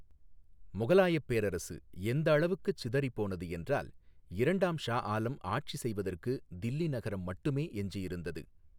முகலாயப் பேரரசு எந்தளவுக்குச் சிதறிப்போனது என்றால், இரண்டாம் ஷா ஆலம் ஆட்சி செய்வதற்கு தில்லி நகரம் மட்டுமே எஞ்சியிருந்தது.